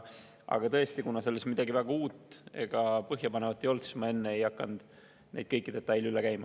Aga tõesti, kuna selles midagi väga uut ega põhjapanevat ei olnud, siis ma enne ei hakanud kõiki neid detaile üle käima.